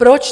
Proč?